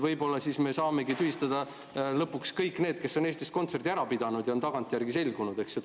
Võib-olla siis me saamegi tühistada lõpuks kõik need, kes on Eestis kontserdi ära pidanud ja tagantjärgi on see selgunud.